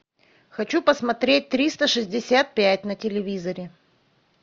хочу посмотреть триста шестьдесят пять на телевизоре